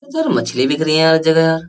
इधर मछली दिख रही हैं हर जगह।